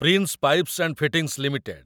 prince pipes and fittings limited